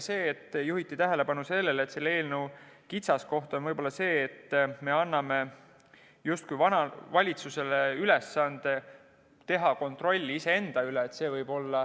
Juhiti tähelepanu ka sellele, et eelnõu kitsaskoht võib olla see, et me justkui anname valitsusele ülesande teha kontrolli iseenda üle.